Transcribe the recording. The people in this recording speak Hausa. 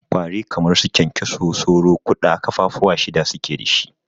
Ƙwari kamar su kyankyaso, sauro, ƙuda kafa fuwa shida suke dashi.